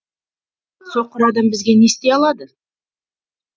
соқыр адам бізге не істей алады